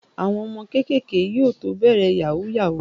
Àwọn ọmọ kéékèèké yóò tó bẹ̀rẹ̀ Yahoo yahoo